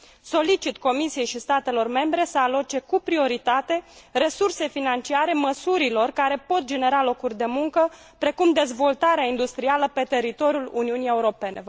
Solicit Comisiei și statelor membre să aloce cu prioritate resurse financiare măsurilor care pot genera locuri de muncă precum dezvoltarea industrială pe teritoriul Uniunii Europene.